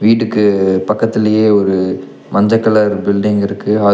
வீட்டுக்கு பக்கத்திலேயே ஒரு மஞ்ச கலர் பில்டிங் இருக்கு அது--